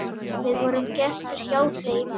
Við vorum gestir hjá þeim.